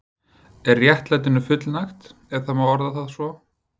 Er réttlætinu fullnægt, ef það má orða það svo?